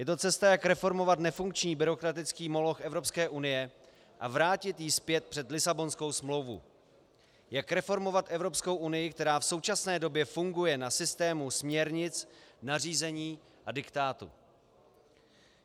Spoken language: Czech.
Je to cesta, jak reformovat nefunkční byrokratický moloch Evropské unie a vrátit ji zpět před Lisabonskou smlouvu, jak reformovat Evropskou unii, která v současné době funguje na systému směrnic, nařízení a diktátu.